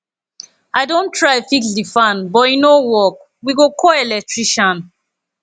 i don try fix di fan but e no work we go call electrician